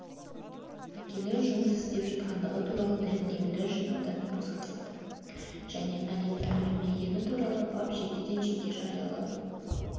әкелер жұмыс істеп жатқандығы туралы дәлелдемелер жинаудан босатылады және алимент төлемегені туралы бап жекеден жеке-жариялы